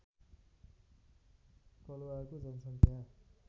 कलवारको जनसङ्ख्या